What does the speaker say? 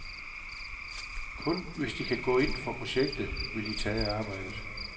Kun hvis de kan gå ind for projektet, vil de tage arbejdet.